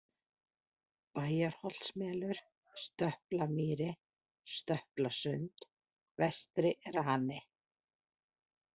Bæjarholtsmelur, Stöplamýri, Stöplasund, Vestari-Rani